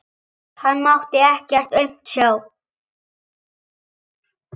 Hann mátti ekkert aumt sjá.